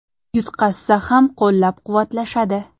Yutqazsa ham qo‘llab-quvvatlashadi.